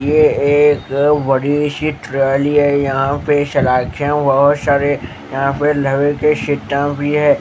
ये एक बड़ी सी ट्रॉली है यहाँ पर शलाखां बहुत सारी यहाँ पर लोहे के सिट्टम भी हैं।